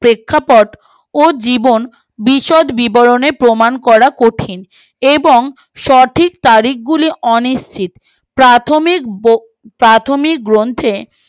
প্রেক্ষাপট ও জীবন বিশদ বিবরণে প্রমান করা কঠিন এবং সঠিক তারিখ গুলি অনি চিত প্রাথমিক গো প্রাথমিক গ্রন্থে